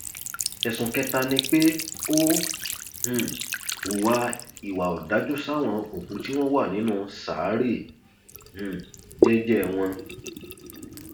ẹsùn kẹta ni pé ó um hu ìwà ọdájú sáwọn òkú tí wọn wà nínú ṣàárẹ um jẹẹjẹ wọn